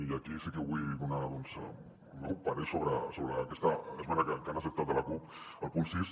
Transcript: i aquí sí que vull donar el meu parer sobre aquesta esmena que han acceptat de la cup al punt sis